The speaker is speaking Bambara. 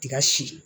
Tiga si